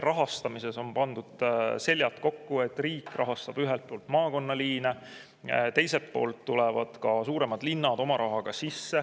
Rahastamises on pandud seljad kokku: ühelt poolt riik rahastab maakonnaliine, teiselt poolt tulevad ka suuremad linnad oma rahaga.